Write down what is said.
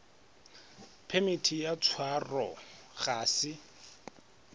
phemiti ya tshwaro ga se